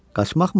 Qaçmaqmı?